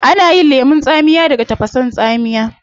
Ana yin lemun tsamiya daga tafasa tsamiya